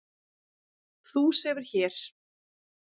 Þú sefur hér.